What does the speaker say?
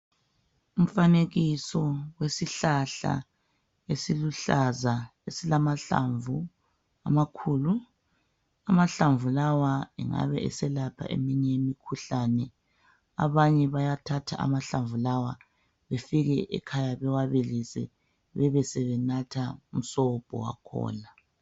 Umfanekiso wesihlahla esiluhlaza esilamahlamvu amakhulu, amahlamvu lawa engabe eselapha eminye imikhuhlane, abanye bayathathaamhlamvu lawa befike ekhaya bewabilise bebesebenatha umsobho wakhona.